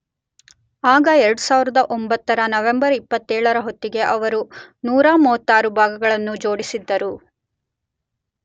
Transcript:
ಆಗ 2009 ರ ನವೆಂಬರ್ 27 ರ ಹೊತ್ತಿಗೆ ಅವರು 136 ಭಾಗಗಳನ್ನು ಜೋಡಿಸಿದ್ದರು